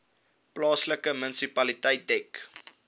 plaaslike munisipaliteit dek